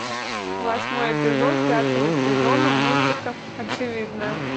восьмой эпизод пятого сезона мультика очевидное